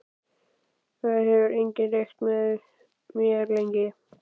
Það hefur enginn reykt með mér lengi.